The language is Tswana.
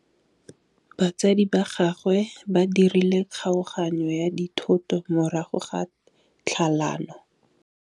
Batsadi ba gagwe ba dirile kgaoganyô ya dithoto morago ga tlhalanô.